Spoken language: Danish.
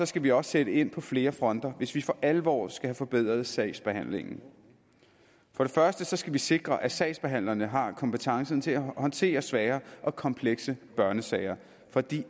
skal vi også sætte ind på flere fronter hvis vi for alvor skal have forbedret sagsbehandlingen for det første skal vi sikre at sagsbehandlerne har kompetencen til at håndtere svære og komplekse børnesager for de